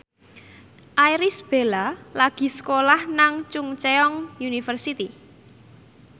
Irish Bella lagi sekolah nang Chungceong University